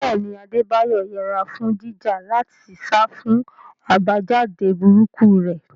Bẹ́ẹ̀ ni, Adebayo yẹra fún jíjà láti sá fún àbájáde burúkú rẹ̀.